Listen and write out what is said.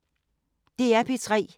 DR P3